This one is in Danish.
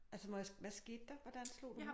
Altså må jeg hvad skete der hvordan slog du